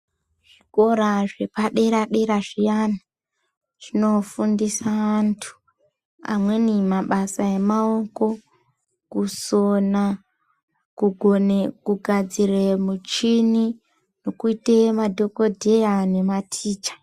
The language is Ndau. Zvikoro zvepadera-dera zviyani, zvinofundisa anthu, amweni mabasa emaoko, kusona, kugone kugadzire muchhini, nekuita madhokodheya nematicha.